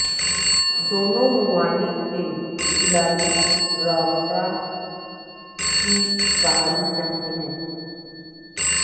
دونوں ممالک کے کھلاڑی روابط کی بحالی چاہتے ہیں